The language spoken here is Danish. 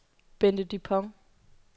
Bente Dupont